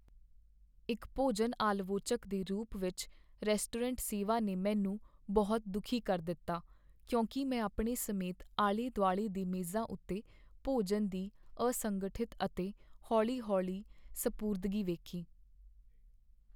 ਇੱਕ ਭੋਜਨ ਆਲਵੋਚਕ ਦੇ ਰੂਪ ਵਿੱਚ, ਰੈਸਟੋਰੈਂਟ ਸੇਵਾ ਨੇ ਮੈਨੂੰ ਬਹੁਤ ਦੁਖੀ ਕਰ ਦਿੱਤਾ ਕਿਉਂਕਿ ਮੈਂ ਆਪਣੇ ਸਮੇਤ ਆਲੇ ਦੁਆਲੇ ਦੇ ਮੇਜ਼ਾਂ ਉੱਤੇ ਭੋਜਨ ਦੀ ਅਸੰਗਠਿਤ ਅਤੇ ਹੌਲੀ ਹੌਲੀ ਸਪੁਰਦਗੀ ਵੇਖੀ